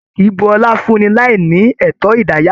A kìí bú ọlá fún ní láí ní ẹtọ idayatọ.